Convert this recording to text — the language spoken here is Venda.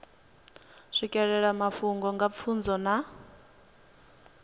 swikelela mafhungo nga pfunzo na